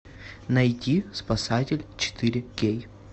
найти спасатель четыре кей